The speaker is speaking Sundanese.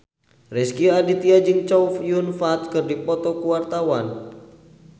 Rezky Aditya jeung Chow Yun Fat keur dipoto ku wartawan